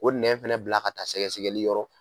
O nɛn fana bila ka taa sɛgɛsɛgɛli yɔrɔ.